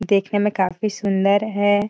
देखने में काफी सुंदर है।